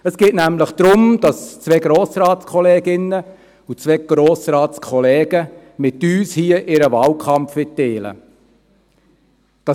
Es geht nämlich darum, dass zwei Grossratskolleginnen und zwei Grossratskollegen hier ihren Wahlkampf mit uns teilen wollen.